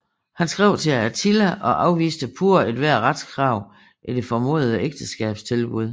Han skrev til Attila og afviste pure ethvert retskrav i det formodede ægteskabstilbud